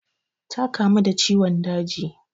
Ta kamu da ciwon daji.